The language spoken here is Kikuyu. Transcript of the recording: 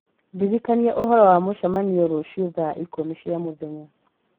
ndirikania ũhoro wa mũcemanio rũciũ thaa ikũmi cia mũthenya